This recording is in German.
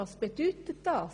Was bedeutet das?